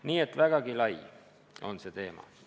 Nii et vägagi lai on see teema.